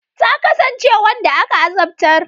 Ta kasance wanda aka azabtar.